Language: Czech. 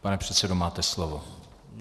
Pane předsedo, máte slovo.